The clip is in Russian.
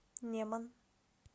неман